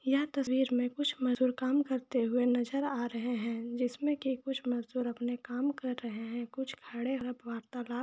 यह तस्वीर में कुछ मजदूर काम करते हुए नजर आ रहे है जिसमें के कुछ मजदूर अपने काम कर रहे है कुछ खड़े है वार्तालाप--